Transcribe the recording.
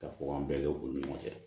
Ka fɔ k'an bɛɛ kɛ u ni ɲɔgɔn cɛ